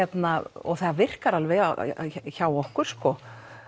og það virkar alveg hjá okkur sko